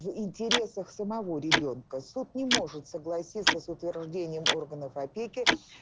в интересах самого ребёнка суд не может согласиться с утверждением органов опеки